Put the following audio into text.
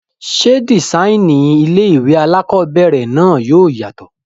Ṣé dìsáínì ilé-ìwé alákobẹ̀rẹ̀ náà yóò yàtọ̀?